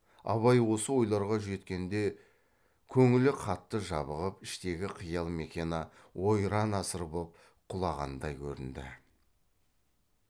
абай осы ойларға жеткенде көңілі қатты жабығып іштегі қиял мекені ойран асыр боп құлағандай көрінді